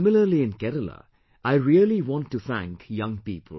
And similarly in Kerala, I really want to thank young people